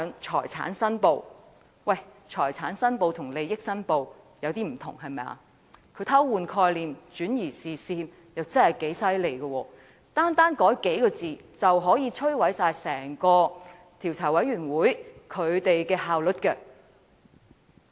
財產申報和利益申報稍有不同，他偷換概念，轉移視線，確實厲害，單改數字，便可摧毀整個專責委員會的效率。